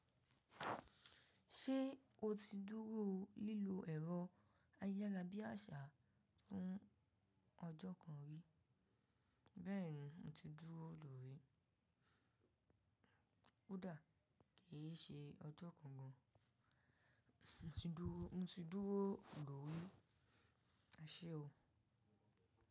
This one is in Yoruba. Ṣé o ti dúró lílo ẹ̀rọ ayarabíàṣà fún ọjọ́ kan rí? Bẹ́ẹ̀ni, mo ti dúró lórí. Kú dà, kì í ṣe ọjọ́ kan gan. Mo ti dúró lórí. Aṣé o.